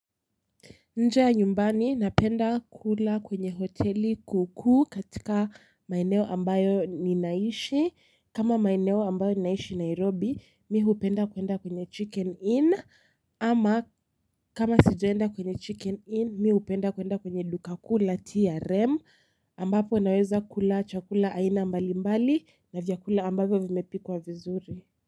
Nje ya nyumbani napenda kula kwenye hoteli kuku katika maeneo ambayo ninaishi kama maeneo ambayo ninaishi nairobi mimi hupenda kwenda kwenye chicken inn ama kama sijaenda kwenye chicken inn mimi hupenda kwenda kwenye dukakuu la TRM ambapo naweza kula chakula aina mbali mbali na vyakula ambavyo vimepikwa vizuri.